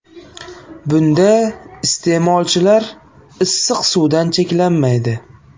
Bunda iste’molchilar issiq suvdan cheklanmaydi.